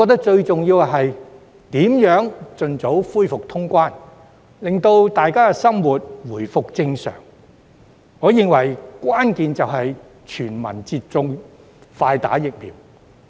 最重要的是，盡早恢復通關，讓市民生活回復正常，而關鍵是全民接種，快打疫苗。